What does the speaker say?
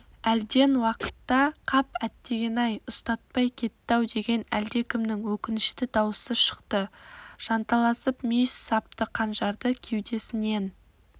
әлден уақытта қап әттеген-ай ұстатпай кетті-ау деген әлдекімнің өкінішті даусы шықты жанталасып мүйіз сапты қанжарды кеудесінен